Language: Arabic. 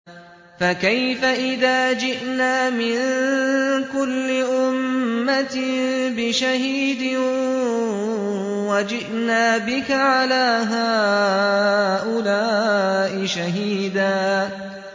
فَكَيْفَ إِذَا جِئْنَا مِن كُلِّ أُمَّةٍ بِشَهِيدٍ وَجِئْنَا بِكَ عَلَىٰ هَٰؤُلَاءِ شَهِيدًا